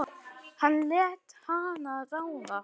Hann lét hana ráða.